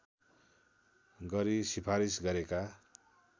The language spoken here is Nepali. गरी सिफारिस गरेका